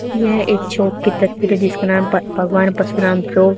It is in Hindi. यह एक शॉप की तस्वीर जिसका नाम पा भगवान परशुराम फ्रो--